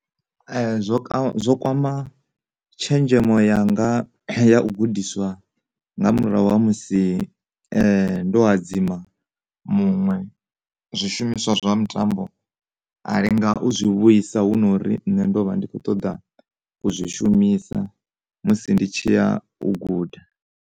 Zwo ka, zwo kwama tshenzhemo yanga ya u gudiswa nga murahu ha musi ndo hadzima muṅwe zwishumiswa zwa mutambo a lenga u zwi vhuisa hu no uri nṋe ndovha ndi kho ṱoḓa u zwi shumisa musi ndi tshi ya u guda.